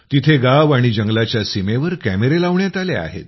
तिथे गाव आणि जंगलाच्या सीमेवर कॅमेरे लावण्यात आले आहेत